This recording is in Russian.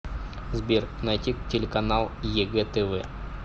сбер найти телеканал егэ тв